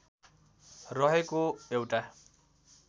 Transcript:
रहेको एउटा